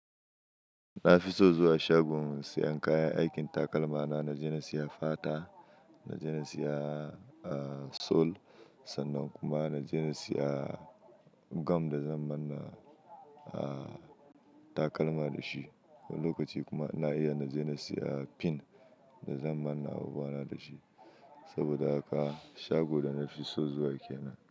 Na fi so zuwa shagon siyan kayan aikin takalma na. Na je na siya fata, na je na siya, ah, sol sannan kuma na je na siya gum da zan manna, ah, takalma da shi. Wani lokaci kuma na iya na je na siya fin da zan manna abubuwana da shi. Saboda haka shago da na fi so zuwa kenan.